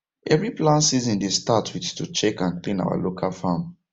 every plant season dey start with to check and clean our local farm